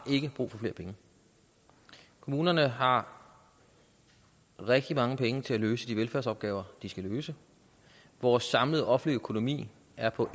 brug for flere penge kommunerne har rigtig mange penge til at løse de velfærdsopgaver de skal løse vores samlede offentlige økonomi er på